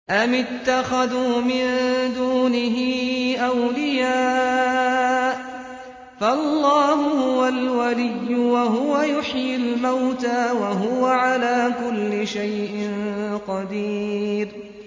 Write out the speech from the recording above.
أَمِ اتَّخَذُوا مِن دُونِهِ أَوْلِيَاءَ ۖ فَاللَّهُ هُوَ الْوَلِيُّ وَهُوَ يُحْيِي الْمَوْتَىٰ وَهُوَ عَلَىٰ كُلِّ شَيْءٍ قَدِيرٌ